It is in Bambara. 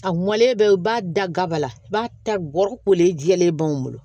A mɔlen bɛ i b'a da gaba la i b'a ta gɔri kolen jɛlen b'an bolo